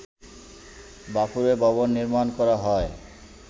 বাফুফে ভবন নির্মাণ করা হয়